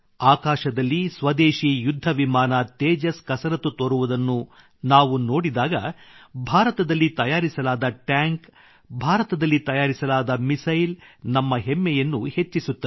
ಆಕಾಶದಲ್ಲಿ ಸ್ವದೇಶಿ ಯುದ್ಧ ವಿಮಾನ ತೇಜಸ್ ಕಸರತ್ತು ತೋರುವುದನ್ನು ನಾವು ನೋಡಿದಾಗ ಭಾರತದಲ್ಲಿ ತಯಾರಿಸಲಾದ ಟ್ಯಾಂಕ್ ಭಾರತದಲ್ಲಿ ತಯಾರಿಸಲಾದ ಮಿಸೈಲ್ ನಮ್ಮ ಹೆಮ್ಮೆಯನ್ನು ಹೆಚ್ಚಿಸುತ್ತವೆ